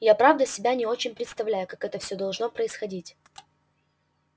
я правда себя не очень представляю как все это должно происходить